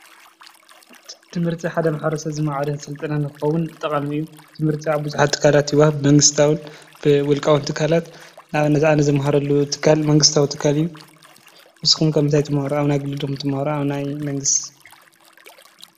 ትምህርቲ ሓደሰብ ዕድሚኡ ምስ በፀሐ እቲ ናይ መጀመርታ ክገብሮ ዝፅበዮ ትምህርቲ ሓደ እዩ። ትምህርቲ ሃይማናታውን ዓለማውን እውን ኢልካ ክትከፍሎም ትኽል ንኣብነት ኣብ እምነት ቦታ ካሊእ መዳይ ኸዓ መንግስታዊ ወይ ናይ ውልቀ ቤት ትምህርቲ ትወሃቦ ስሩዕ ትምህርቲ እዩ።